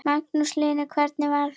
Magnús Hlynur: Hvernig var það?